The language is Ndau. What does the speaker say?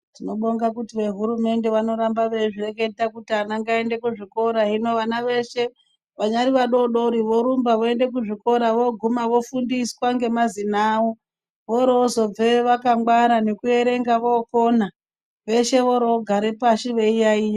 Tinobonga kuti vehurumende vanoramba veizvireketa kuti vana ngavaende kuzvikora hino vana veshe vanyari vadodori vorumba veiende kuzvikora voguma vofundiswa ngemazina awo vorozobveyo vakangwara nekuerenga vokona veshe vorogare pashi veiyaiya.